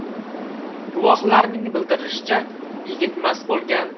Guvohlarning bildirishicha, yigit mast bo‘lgan.